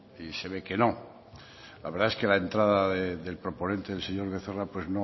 y se ve que no la verdad es que la entrada del proponente el señor becerra pues